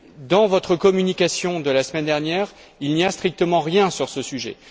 Dans votre communication de la semaine dernière, il n'y a strictement rien sur ce sujet.